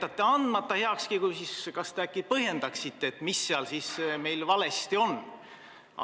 Kui te jätate heakskiidu andmata, kas te siis äkki põhjendate, mis seal valesti on?